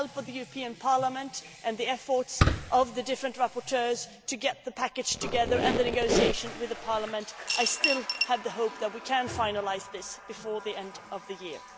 With the help of the European Parliament and the efforts of the different rapporteurs to get the package together and conclude the negotiation with the Parliament, I still hope that we can finalise this before the end of the year.